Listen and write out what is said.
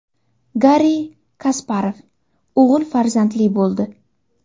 Garri Kasparov o‘g‘il farzandli bo‘ldi.